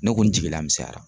Ne ko n jigila misɛnyara.